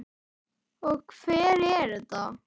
Og hver er þetta?